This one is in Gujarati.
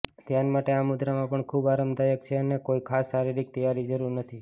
ધ્યાન માટે આ મુદ્રામાં પણ ખૂબ આરામદાયક છે અને કોઇ ખાસ શારીરિક તૈયારી જરૂર નથી